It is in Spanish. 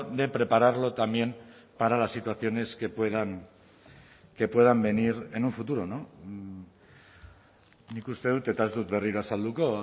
de prepararlo también para las situaciones que puedan que puedan venir en un futuro no nik uste dut eta ez dut berriro azalduko